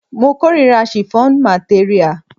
Mo kórira shiffọnu materia.